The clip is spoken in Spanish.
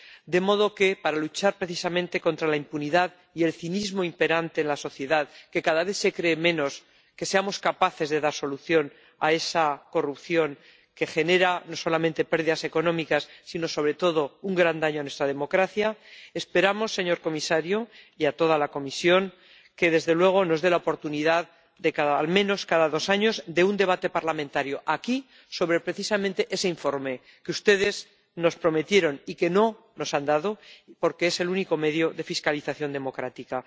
de modo que, para luchar precisamente contra la impunidad y el cinismo imperante en la sociedad, que cada vez se cree menos que seamos capaces de dar solución a esa corrupción que genera no solamente pérdidas económicas sino sobre todo un gran daño a nuestra democracia, esperamos, señor comisario, y de toda la Comisión, que nos dé la oportunidad de al menos cada dos años un debate parlamentario, aquí, sobre ese informe que ustedes nos prometieron y que no nos han dado, porque es el único medio de fiscalización democrática.